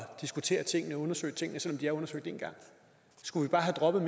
diskutere tingene og undersøge tingene selv om de er undersøgt en gang skulle vi bare have droppet